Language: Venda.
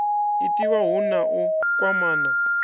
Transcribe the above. itiwa hu na u kwamana